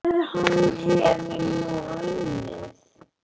En hvað ef hann hefur nú unnið?